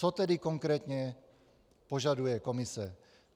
Co tedy konkrétně požaduje komise?